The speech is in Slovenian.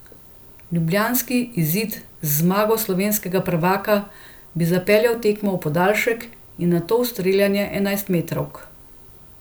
Ljubljanski izid z zmago slovenskega prvaka bi zapeljal tekmo v podaljšek in nato v streljanje enajstmetrovk.